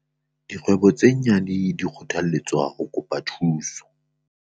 Dikgwebo tse nyane di kgothalletswa ho kopa thuso